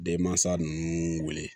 Denmansa ninnu wele